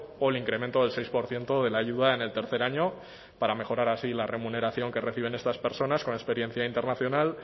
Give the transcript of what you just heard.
o el incremento del seis por ciento de la ayuda en el tercer año para mejorar así la remuneración que reciben estas personas con experiencia internacional